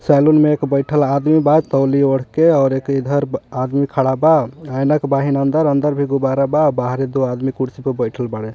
Saloon में एक बैठल आदमी बा तौलिया ओढ़ के और एक इधर आदमी खड़ा बा अंदर अंदर भी गुब्बारा बा बहरे दो आदमी कुर्सी पर बैठल बाड़े.